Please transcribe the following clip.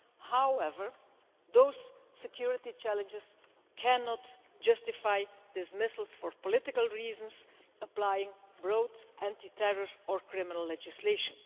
However, those security challenges cannot justify dismissals for political reasons, applying broad anti terror or criminal legislation.